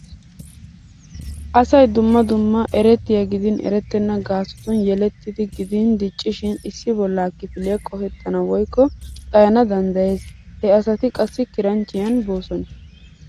Asay dumma dumma erettiya gidin erettenna gaasotun yelettiiddi gidin diccishin issi bollaa kifiliya qohettana woykko xayana danddayees. He asati qassi kiranchchiyan boosona.